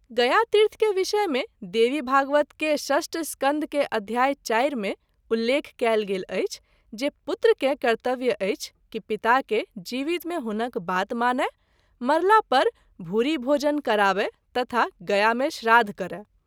गया तीर्थ के विषय मे देवी भागवत के षष्ठ स्कंध के अध्याय - 4 मे उल्लेख कएल गेल अछि जे- “ पुत्र के कर्तव्य अछि कि पिता के जीवित मे हुनक बात मानय, मरला पर भूरि भोजन कराबय तथा गया मे श्राद्ध करय”।